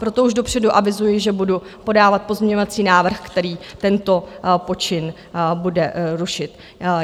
Proto už dopředu avizuji, že budu podávat pozměňovací návrh, který tento počin bude rušit.